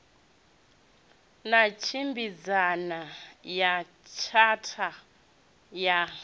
na tshimbidzana na tshatha ya